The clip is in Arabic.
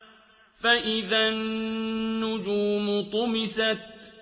فَإِذَا النُّجُومُ طُمِسَتْ